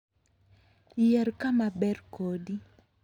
Yier kama ber kodi.